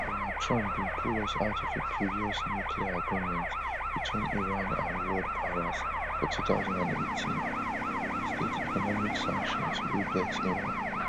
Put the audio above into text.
donald trump bin pull us out of a previous nuclear agreement between iran and world powers for two thousand and eighteen and reinstate economic sanctions wey vex iran